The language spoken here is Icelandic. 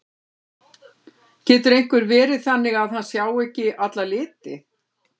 Getur einhver verið þannig að hann sjái ekki alla liti?